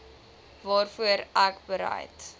waarvoor ek bereid